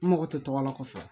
N mago tɛ tɔgɔ la kɔfɛ